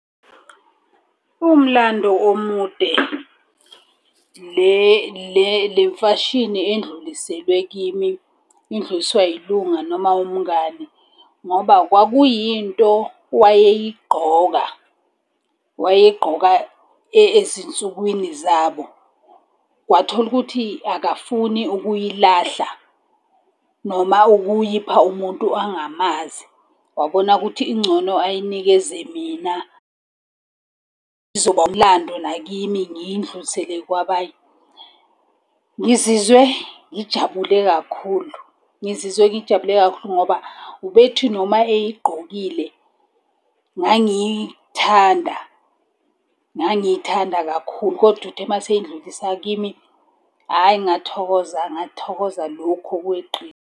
Umlando omude. Le mfashini endluliselwe kimi, idluliselwa yilunga noma umngani ngoba kwakuyinto wayeyigqoka. Wayeyigqoka ezinsukwini zabo. Kwathola ukuthi akafuni ukuyilahla noma ukuyipha umuntu angamazi, wabona ukuthi ingcono ayinikeze mina. Izoba umlando nakimi ngiyindlulisele kwabanye. Ngizizwe ngijabule kakhulu, ngizizwe ngijabule kakhulu ngoba, ubethi noma eyigqokile, ngangiyithanda. Ngangiyithanda kakhulu, kodwa uthe uma eseyindlulisa kimi, hhayi ngathokoza, ngathokoza lokhu okweqile.